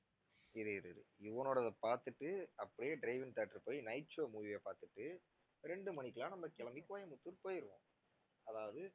இரு இரு இரு யுவனோடதை பாத்துட்டு அப்படியே drive in theatre போயி night show movie அ பாத்துட்டு ரெண்டு மணிக்கெல்லாம் நம்ம கிளம்பி கோயம்புத்தூர் போயிருவோம் அதாவது